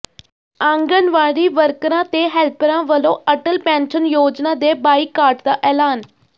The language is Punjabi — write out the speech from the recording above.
ਆਂਗਨਵਾੜੀ ਵਰਕਰਾਂ ਤੇ ਹੈਲਪਰਾਂ ਵੱਲੋਂ ਅਟੱਲ ਪੈਨਸ਼ਨ ਯੋਜਨਾ ਦੇ ਬਾਈਕਾਟ ਦਾ ਐਲਾਨ